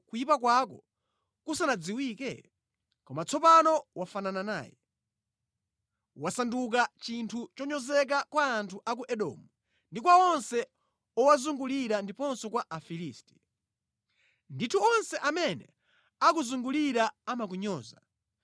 kuyipa kwako kusanadziwike? Koma tsopano wafanana naye. Wasandukano chinthu chonyozeka kwa anthu a ku Edomu ndi kwa onse owazungulira ndiponso kwa Afilisti. Ndithu onse amene akuzungulira amakunyoza.